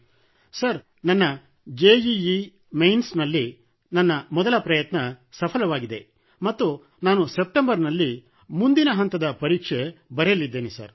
college ವ್ಯಾಸಂಗ sir ನನ್ನ JEE mains ನಲ್ಲಿ ಮೊದಲ ಪ್ರಯತ್ನ ಸಫಲವಾಗಿದೆ ಮತ್ತು ನಾನು ಸೆಪ್ಟೆಂಬರ್ ನಲ್ಲಿ ಮುಂದಿನ ಹಂತದ ಪರೀಕ್ಷೆ ಬರೆಯಲಿದ್ದೇನೆ